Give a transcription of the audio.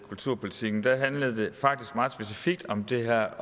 kulturpolitikken handlede det faktisk meget specifikt om det her